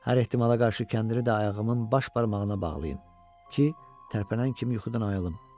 Hər ehtimala qarşı kəndini də ayağımın baş barmağına bağlayın ki, tərpənən kimi yuxudan ayılım.